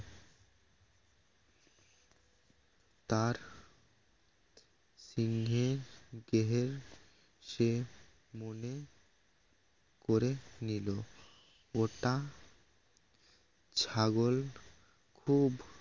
তার সিংহে দেহে সে মনে করে নিল ওটা ছাগল খুব